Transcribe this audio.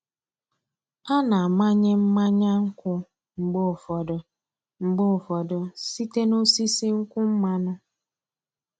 A na-amanye mmanya nkwụ mgbe ụfọdụ mgbe ụfọdụ site n’osisi nkwụ mmanụ.